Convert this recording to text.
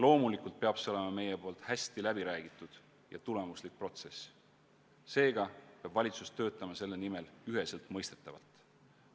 Loomulikult peab see olema meie poolt hästi läbiräägitud ja tulemuslik protsess, seega peab valitsus töötama selle nimel üheselt mõistetavalt.